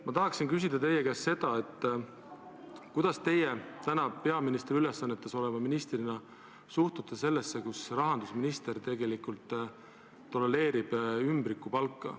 Ma tahan küsida teie käest seda, kuidas teie täna peaministri ülesannetes oleva ministrina suhtute sellesse, kui rahandusminister tegelikult tolereerib ümbrikupalka.